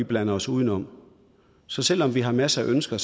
blander os udenom så selv om vi har masser af ønsker